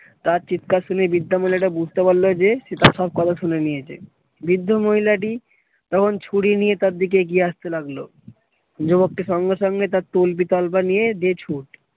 তার চিৎকার শুনে বৃদ্ধা মহিলাটা বুঝতে পারলো যে সে তার সব কথা শুনে নিয়েছে। বৃদ্ধ মহিলাটি তখন চুরি নিয়ে তার দিকে এগিয়ে আসতে লাগলো যুবকটি সঙ্গে সঙ্গে তার তল্পি তল্পা নিয়ে দে ছুটে।